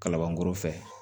Kalabankɔrɔ fɛ